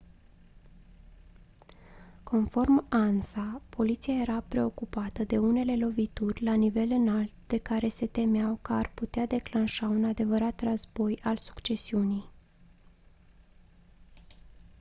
conform ansa «poliția era preocupată de unele lovituri la nivel înalt de care se temeau că ar putea declanșa un adevărat război al succesiunii».